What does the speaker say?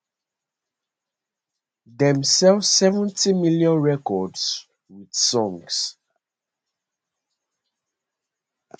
dem sell 70 million records with songs